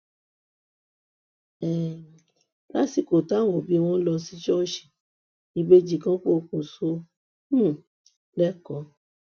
um lásìkò táwọn òbí wọn lọ sí ṣọọṣì ìbejì kan pokùṣọ um lẹkọọ